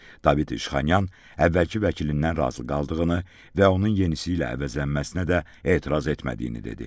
David İşxanyan əvvəlki vəkilindən razı qaldığını və onun yenisi ilə əvəzlənməsinə də etiraz etmədiyini dedi.